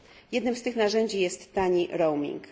Jednym z tych narzędzi jest tani roaming.